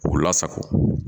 K'u lasago